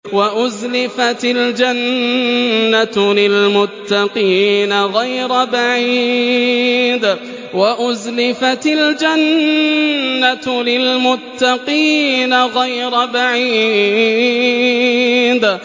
وَأُزْلِفَتِ الْجَنَّةُ لِلْمُتَّقِينَ غَيْرَ بَعِيدٍ